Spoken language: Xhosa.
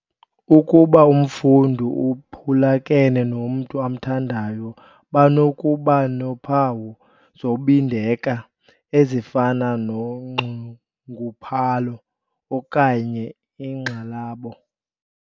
"Ukuba umfundi uphulukene nomntu amthandayo, banokuba nophawu zobindeka ezifana nonxunguphalo okanye ingxalabo."